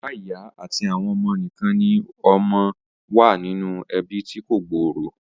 Bàbá, ìyá àti àwọn ọmọ nìkan ni ó máa ń wà nínú ẹbí tí kò gbòòrò